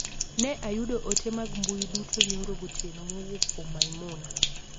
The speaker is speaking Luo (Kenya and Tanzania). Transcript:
Ne ayudo ote mag mbui duto nyoror gotieno mowuok kuom Maimuna.